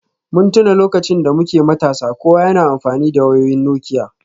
Mun tuna lokacin da muke matasa, kowa yana amfani da wayoyin Nokia